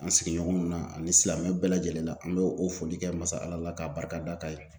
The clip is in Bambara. An sigiɲɔgɔnw na ani silamɛ bɛɛ lajɛlen la. An be o foli kɛ masa Ala la ka barika da k'a ye.